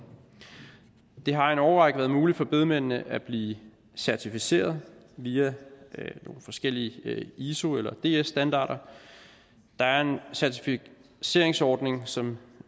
det har en årrække været muligt for bedemændene at blive certificerede via nogle forskellige iso eller ds standarder der er en certificeringsordning som